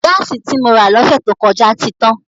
Gáàsì tí mo rà lọ́sẹ̀ tó kọjá ti tán.